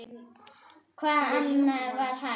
Hvað annað var hægt?